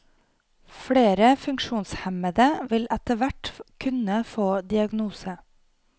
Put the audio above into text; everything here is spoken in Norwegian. Flere funksjonshemmede vil etterhvert kunne få diagnose.